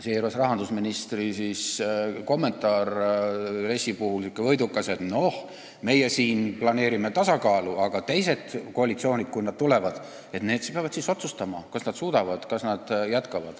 Seejuures oli rahandusministri kommentaar RES-i puhul niisugune võidukas, et meie siin planeerime tasakaalu, aga kui teised koalitsioonid tulevad, siis nad peavad otsustama, kas nad suudavad jätkata.